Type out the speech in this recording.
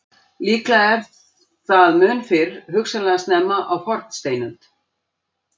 Líklega er það mun fyrr, hugsanlega snemma á fornsteinöld.